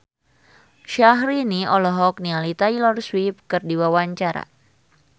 Syahrini olohok ningali Taylor Swift keur diwawancara